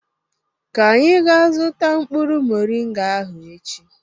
ka anyị gaa zụta mkpụrụ moringa ahụ echi.